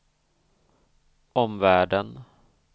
omvärlden